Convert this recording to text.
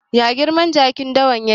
Ya girman jakin dawa yake?